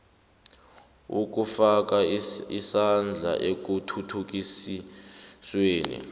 ukufaka isandla ekuthuthukisweni